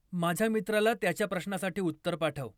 माझ्या मित्राला त्याच्या प्रश्नासाठी उत्तर पाठव.